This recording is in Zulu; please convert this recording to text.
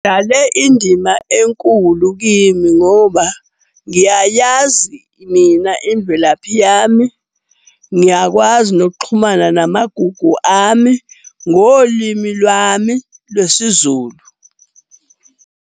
Idlale indima enkulu kimi ngoba ngiyayazi mina imvelaphi yami, ngiyakwazi nokuxhumana namagugu ami ngolimi lwami lwesiZulu.